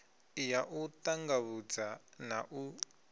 ya u ṱanḓavhudza na u